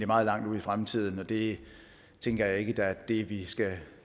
meget langt ude i fremtiden og det tænker jeg ikke er det vi skal